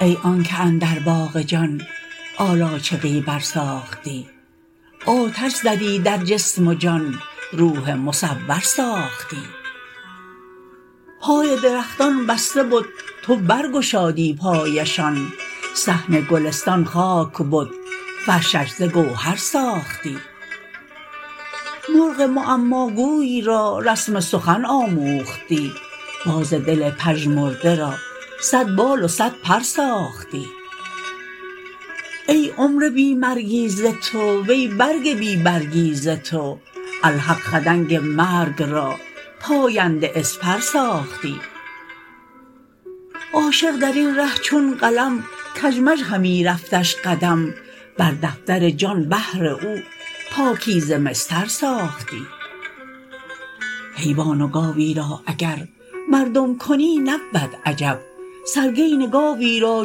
ای آنک اندر باغ جان آلاجقی برساختی آتش زدی در جسم و جان روح مصور ساختی پای درختان بسته بد تو برگشادی پایشان صحن گلستان خاک بد فرشش ز گوهر ساختی مرغ معماگوی را رسم سخن آموختی باز دل پژمرده را صد بال و صد پر ساختی ای عمر بی مرگی ز تو وی برگ بی برگی ز تو الحق خدنگ مرگ را پاینده اسپر ساختی عاشق در این ره چون قلم کژمژ همی رفتش قدم بر دفتر جان بهر او پاکیزه مسطر ساختی حیوان و گاوی را اگر مردم کنی نبود عجب سرگین گاوی را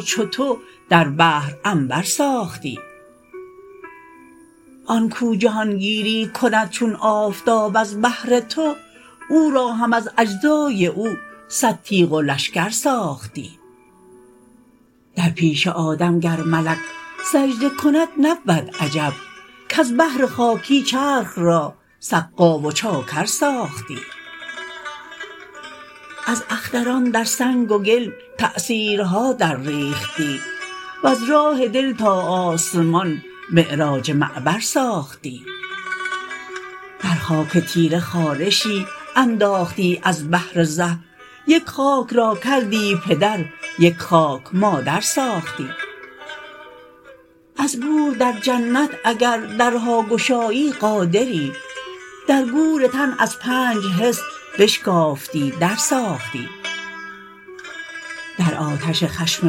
چو تو در بحر عنبر ساختی آن کو جهان گیری کند چون آفتاب از بهر تو او را هم از اجزای او صد تیغ و لشکر ساختی در پیش آدم گر ملک سجده کند نبود عجب کز بهر خاکی چرخ را سقا و چاکر ساختی از اختران در سنگ و گل تأثیرها درریختی وز راه دل تا آسمان معراج معبر ساختی در خاک تیره خارشی انداختی از بهر زه یک خاک را کردی پدر یک خاک مادر ساختی از گور در جنت اگر درها گشایی قادری در گور تن از پنج حس بشکافتی در ساختی در آتش خشم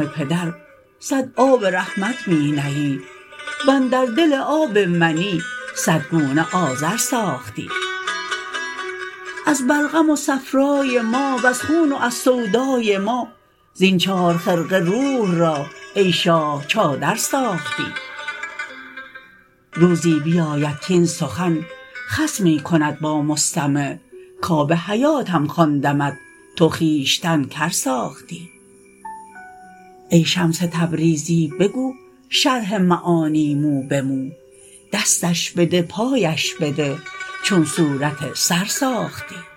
پدر صد آب رحمت می نهی و اندر دل آب منی صد گونه آذر ساختی از بلغم و صفرای ما وز خون و از سودای ما زین چار خرقه روح را ای شاه چادر ساختی روزی بیاید کاین سخن خصمی کند با مستمع کآب حیاتم خواندمت تو خویشتن کر ساختی ای شمس تبریزی بگو شرح معانی مو به مو دستش بده پایش بده چون صورت سر ساختی